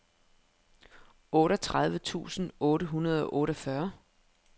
otteogtredive tusind otte hundrede og otteogfyrre